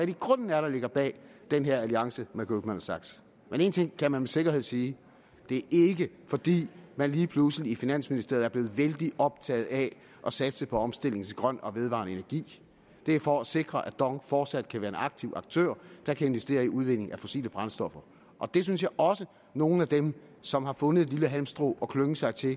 i grunden er der ligger bag den her alliance med goldman sachs men en ting kan man med sikkerhed sige det er ikke fordi man lige pludselig i finansministeriet er blevet vældig optaget af at satse på omstilling til grøn og vedvarende energi det er for at sikre at dong fortsat kan være en aktiv aktør der kan investere i udvinding af fossile brændstoffer og det synes jeg også at nogle af dem som har fundet et lille halmstrå at klynge sig til